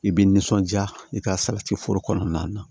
I b'i nisɔndiya i ka salati foro kɔnɔna na